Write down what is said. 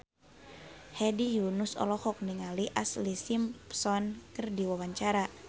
Hedi Yunus olohok ningali Ashlee Simpson keur diwawancara